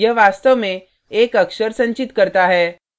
यह वास्तव में एक अक्षर संचित कर करता है